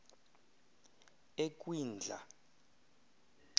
ekwindla